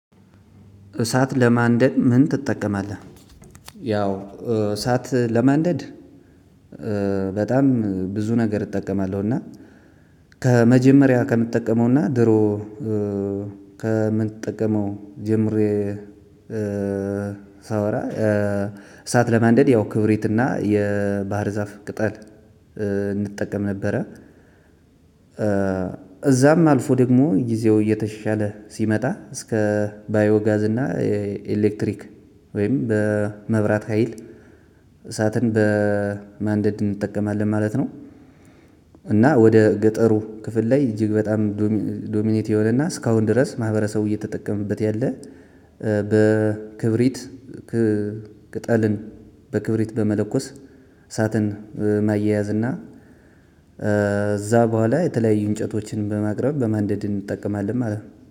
እሳት ለማንደድ ምን ትጠቀማለህ? ያው እሳት ለማንደድ በጣም ብዙ ነገር እጠቀማለሁ እና ከመጀመሪያ ከምጠቀመውና ድሮ ከምንጠቀመው ጀምሬ ሳወራ እሳት ለማንደድ ያው ክብሪትና የባህር ዛፍ ቅጠል እንጠቀም ነበረ እዛም አልፎ ደግሞ ጊዜው እየተሻሻለ ሲመጣ እስከ ባዮ ጋዝ እና ኤሌክትሪክ ወይም በመብራት ሀይል እሳትን በማንደድ እንጠቀማለን ማለት ነው። እና ወደ ገጠሩ ክፍል ላይ እጅግ በጣም ዶሚኔት የሆነና እሳከአሁን ድረስ ማህበረሰቡ እየተጠቀመበት ያለ በክብሪት ቅጠልን በክብሪት በመለኮስ እሳትን ማያያዝ እና እዛ በኋላ የተለያዩ እንጨቶችን በማቅረብ በማንደድ እንጠቀማለን ማለት ነው።